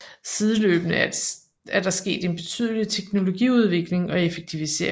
Sideløbende er der sket en betydelig teknologiudvikling og effektivisering